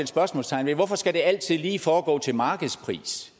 spørgsmålstegn ved hvorfor skal det altid lige foregå til markedspris